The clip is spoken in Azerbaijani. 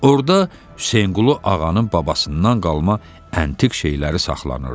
Orda Hüseynqulu Ağanın babasından qalma əntiq şeyləri saxlanılırdı.